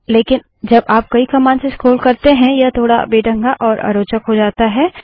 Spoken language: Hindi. लेकिन जब आप कई कमांड्स से स्क्रोल करते हैं यह थोड़ बेढंगा और अरोचक हो जाता है